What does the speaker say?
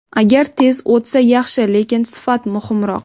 Agar tez o‘tsa yaxshi, lekin sifat muhimroq.